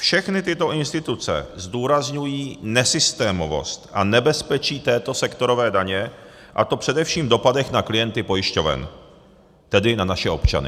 Všechny tyto instituce zdůrazňují nesystémovost a nebezpečí této sektorové daně, a to především v dopadech na klienty pojišťoven, tedy na naše občany.